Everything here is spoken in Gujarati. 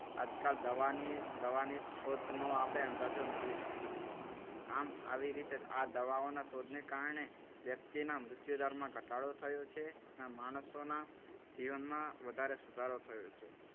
આજકાલ દવાની દવાની શોધનો આપણે અંદાજો મેળવી શકીએ છીએ. આમ આવી રીતે આ દવાઓના શોધને કારણે વ્યક્તિના મૃત્યુદરમાં ઘટાડો થયો છે. આ માણસોના જીવનમાં વધારે સુધારો થયો છે.